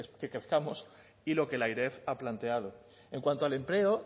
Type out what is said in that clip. que crezcamos y lo que la eref ha planteado en cuanto al empleo